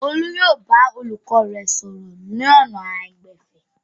Olú yóò bá olùkọ́ rẹ̀ sọ̀rọ̀ lọ́nà àìgbẹ̀fẹ̀.